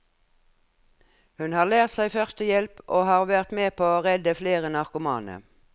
Hun har lært seg førstehjelp og har vært med på å redde flere narkomane.